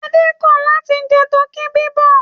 Adé kọ̀ láti jẹ tọkí bíbọ̀.